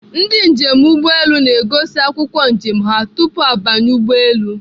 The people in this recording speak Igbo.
Ndị njem ụgbọelu na-egosi akwụkwọ njem ha tupu ha banye ụgbọelu.